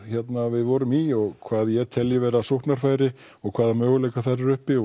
við vorum í og hvað ég telji vera sóknarfæri og hvaða möguleika þar eru uppi